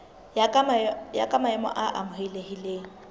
ya ka maemo a amohelehileng